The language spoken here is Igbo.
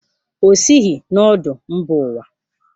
O sighị na ọdụ mba ụwa.